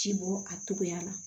Ci bɔ a togoya la